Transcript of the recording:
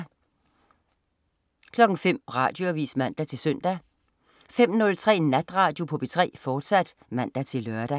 05.00 Radioavis (man-søn) 05.03 Natradio på P3, fortsat (man-lør)